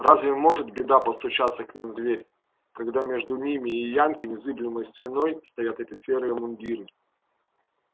разве может беда постучаться к ним в дверь когда между ними и янки незыблемой стеной стоят эти серые мундиры